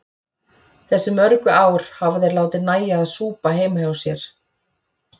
Þessi mörgu ár hafa þeir látið nægja að súpa heima hjá sér.